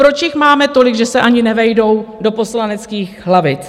Proč jich máme tolik, že se ani nevejdou do poslaneckých lavic?